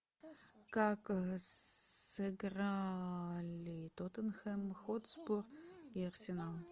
как сыграли тоттенхэм хотспур и арсенал